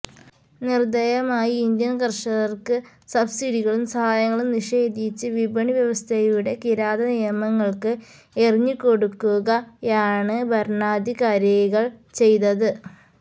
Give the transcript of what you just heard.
നിര്ദയമായി Indian കര്ഷകര്ക്ക് സബ്സിഡികളും സഹായങ്ങളും നിഷേധിച്ച് വിപണിവ്യവസ്ഥയുടെ കിരാതനിയമങ്ങള്ക്ക് എറിഞ്ഞുകൊടുക്കുകയാണ് ഭരണാധികാരികള് ചെയ്തത്